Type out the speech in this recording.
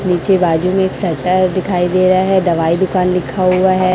नीचे बाजू में एक शटर दिखाई दे रहा है दवाई दुकान लिखा हुआ है।